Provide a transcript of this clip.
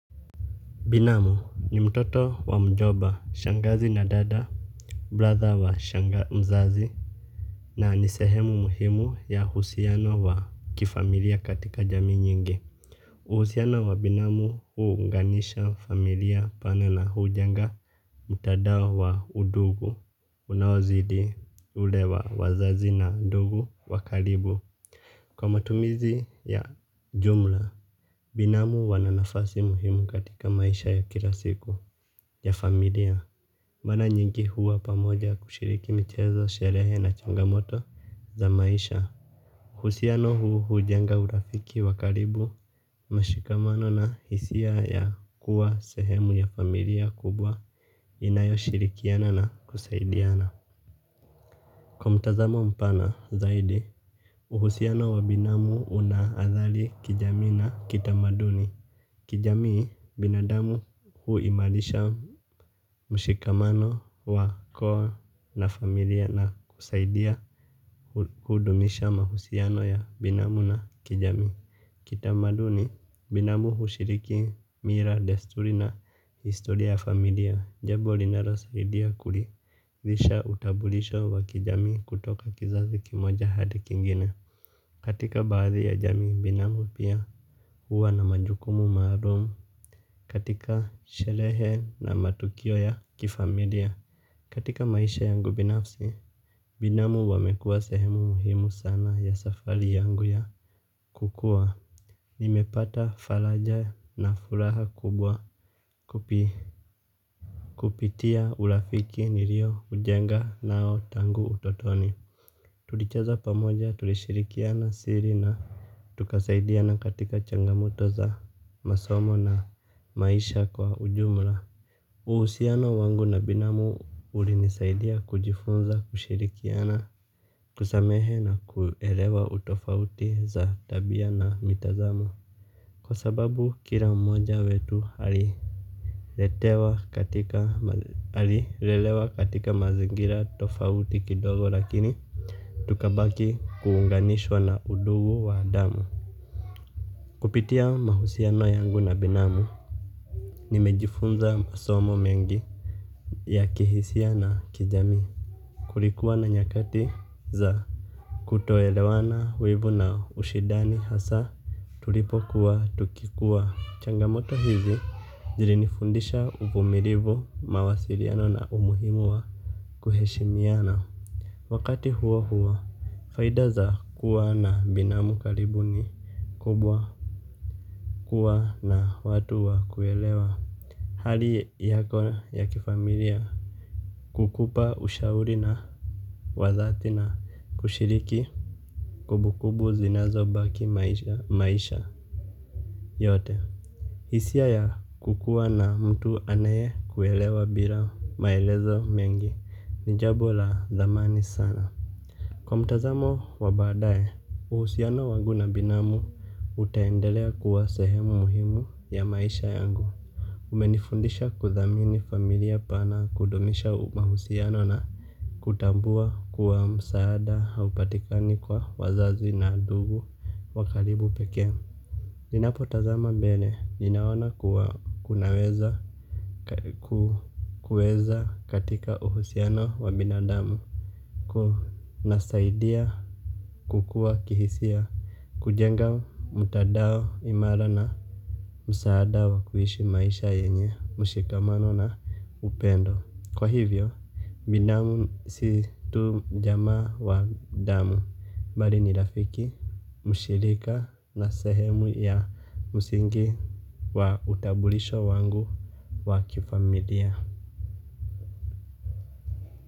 Binamu ni mtoto wa mjomba shangazi na dada, brother wa mzazi, na ni sehemu muhimu ya uhusiano wa kifamilia katika jamii nyingi. Uhusiano wa binamu uunganisha familia pana na hujenga, mtandao wa undugu, unaozidi ule wa wazazi na ndugu wakaribu. Kwa matumizi ya jumla, binamu wana nafasi muhimu katika maisha ya kila siku ya familia. Mara nyingi huwa pamoja kushiriki michezo, sherehe na changamoto za maisha uhusiano huu ujenga urafiki wa karibu, mashikamano na hisia ya kuwa sehemu ya familia kubwa inayoshirikiana na kusaidiana. Kwa mtazamo mpana zaidi uhusiano wa binamu una adhari ya kijamii na kitamaduni. Kijamii binadamu huimarisha mshikamano wa koa na familia na kusaidia kudumisha mahusiano ya binamu na kijamii. Kitamaduni binamu hushiriki mila desturi na historia familia. Jambo linalosaidia kuridhisha utambulisho wa kijamii kutoka kizazi kimoja hadi kingine. Katika baadhi ya jamii binamu pia huwa na majukumu maalum. Katika sherehe na matukio ya kifamilia katika maisha yangu binafsi binamu wamekua sehemu muhimu sana ya safari yangu ya kukua. Nimepata faraja na furaha kubwa kupitia urafiki nilioujenga nao tangu utotoni. Tulicheza pamoja tulishirikiana siri na tukasaidia na katika changamoto za masomo na maisha kwa ujumla. Uhusiano wangu na binamu ulinisaidia kujifunza kushirikiana kusamehe na kuelewa tofauti za tabia na mitazamo. Kwa sababu kila mmoja wetu alilelewa katika mazingira tofauti kidogo lakini tukabaki kuunganishwa na undugu wa damu. Kupitia mahusiano yangu na binamu. Nimejifunza masomo mengi ya kihisia na kijamii. Kulikuwa na nyakati za kutoelewana uibu na ushidani hasa. Tulipokuwa tukikuwa changamoto hizi zilinifundisha uvumilivu mawasiliano na umuhimu wa kuheshimiana. Wakati huo huo faida za kuwa na binamu karibu ni kubwa kuwa na watu wa kuelewa hali yako ya kifamilia kukupa ushauri na wazazi na kushiriki kumbukumbu zinazobaki maisha yote hisia ya kukuwa na mtu anaye kuelewa bila maelezo mengi ni jambo la dhamani sana. Kwa mtazamo wa badaye, uhusiano wangu na binamu utaendelea kuwa sehemu muhimu ya maisha yangu. Umenifundisha kudhamini familia pana kudumisha mahusiano na kutambua kuwa msaada haupatikani kwa wazazi na ndugu wa karibu pekee. Ninapotazama mbele, ninaona kuwa kunaweza katika uhusiano wa binadamu kunasaidia kukuwa kihisia kujenga mtandao imara na msaada wa kuishi maisha yenye, mshikamano na upendo. Kwa hivyo, binamu si tu jamaa wa damu. Mbali ni rafiki, mshirika na sehemu ya msingi wa utambulisho wangu wa kifamilia.